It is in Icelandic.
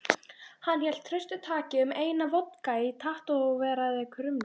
Hann hélt traustataki um eina vodka í tattóveraðri krumlu.